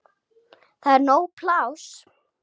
Það er nóg pláss.